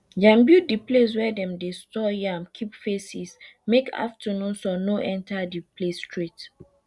dem build de place wey dem dey store yam keep face east make afternoon sun no enter de place straight